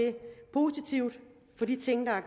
positivt på de ting der er